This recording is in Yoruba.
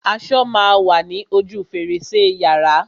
Aṣo má a wa ní ojú fèrèsé yàrá.